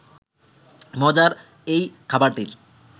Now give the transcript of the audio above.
মজার এই খাবারটির